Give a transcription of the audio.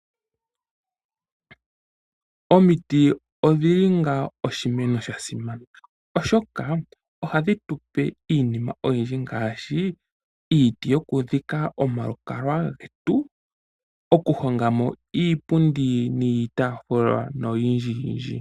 Omiti odhili oshimeno shasimana ohadhi tupe iinima oyindji ngaashi iiti yokudhika omalukalwa getu , okuhonga iipundi niitaafula noyindjiyindji.